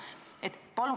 Palun küsimus!